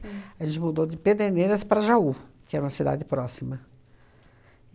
A gente mudou de Pederneiras para Jaú, que é uma cidade próxima.